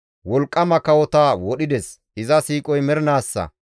Wolqqama kawota wodhides; iza siiqoy mernaassa.